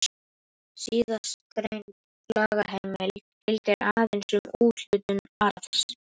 Síðastgreind lagaheimild gildir aðeins um úthlutun arðs.